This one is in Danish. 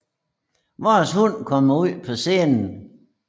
Vores hund kommer ud på scenen